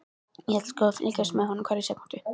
Ég ætla sko að fylgjast með honum hverja sekúndu.